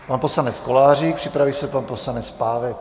Pan poslanec Kolářík, připraví se pan poslanec Pávek.